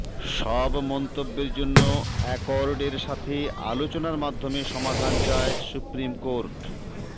সব মন্তব্যের জন্য অ্যাকর্ড এর সাথে আলোচনার মাধ্যমে সমাধান চায় সুপ্রিম কোর্ট